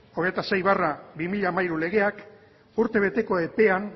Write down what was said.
hogeita sei barra bi mila hamairu legeak urte beteko epean